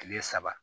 Kile saba